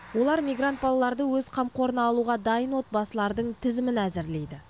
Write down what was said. олар мигрант балаларды өз қамқорына алуға дайын отбасылардың тізімін әзірлейді